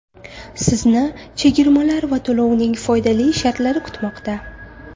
Sizni chegirmalar va to‘lovning foydali shartlari kutmoqda.